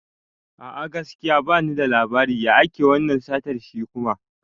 A'a, gaskiya bani da labari, ya ake wannan satar shi kuma?